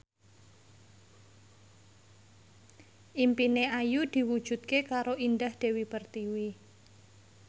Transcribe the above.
impine Ayu diwujudke karo Indah Dewi Pertiwi